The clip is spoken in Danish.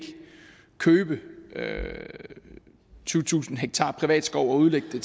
købe tyvetusind ha privat skov og udlægge